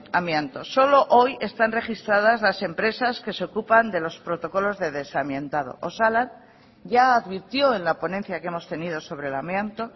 amianto solo hoy están registradas las empresas que se ocupan de los protocolos de desamiantado osalan ya advirtió en la ponencia que hemos tenido sobre el amianto